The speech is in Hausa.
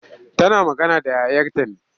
Tana magana da yayarta ne.